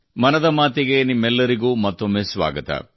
ಮನದ ಮಾತಿಗೆ ನಿಮಗೆಲ್ಲರಿಗೂ ಮತ್ತೊಮ್ಮೆ ಸ್ವಾಗತ